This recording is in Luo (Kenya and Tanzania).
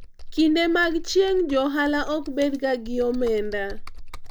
kinde mag chieng',johala ok bed ga gi omenda